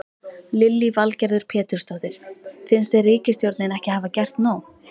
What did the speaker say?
Lillý Valgerður Pétursdóttir: Finnst þér ríkisstjórnin ekki hafa gert nóg?